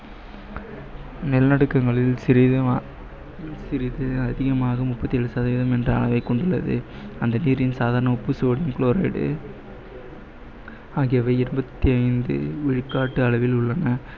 நிலநடுக்கங்களில் சிறிது அதிகமாகும் முப்பத்தி ஏழு சதவிகிதம் என்ற அளவை கொண்டுள்ளது அந்த நீரின் சாதாரண உப்பு sodium chloride ஆகியவை இருபத்தி ஐந்து விழுக்காடு அளவில் உள்ளன